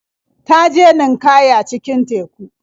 Ta je ninƙaya cikin teku.